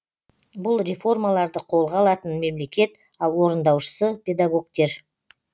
бұл реформаларды қолға алатын мемлекет ал орындаушысы педагогтер